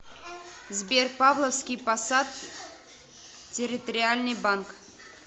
сбер павловский посад территориальный банк